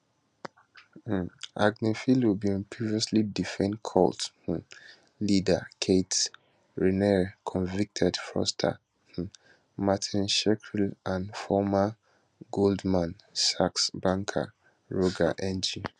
agnifilo bin previously defend cult um leader keith raniere convicted fraudster um martin shkreli and former goldman sachs banker roger ng